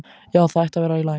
Já, það ætti að vera í lagi.